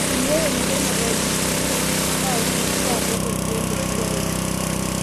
teniata emoyian ee ABPA, na indim si atook ilkeek le steroids.